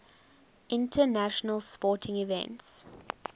international sporting events